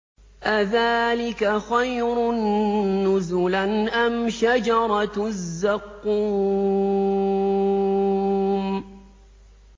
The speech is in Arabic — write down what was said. أَذَٰلِكَ خَيْرٌ نُّزُلًا أَمْ شَجَرَةُ الزَّقُّومِ